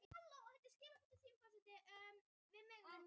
Einrún, spilaðu lag.